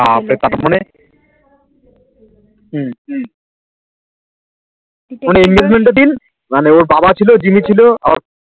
আঃ তার ম্যান হম কোনো এনগেজমেন্টের দিন তার বাবা সিল জিম্মি কোনো